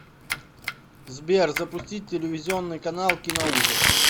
сбер запустить телевизионный канал киноужас